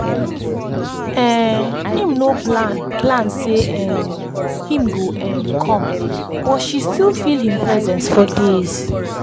um im no plan plan say um him go um come but she still feel him presence for days.